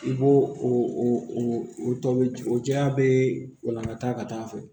I b'o o tɔbi o jɛya bɛɛ walangakata ka taa' a fɛ